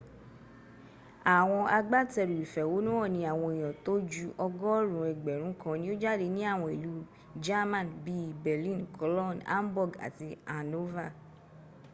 àwọn agbátẹrù ìfẹ̀hónúhàn ní àwọn èèyàn tó ju ọgọ́rùn ún ẹgbẹ̀rún kan ni o jáde ní àwọn ìlú german bí i berlin cologne hamburg àti hanover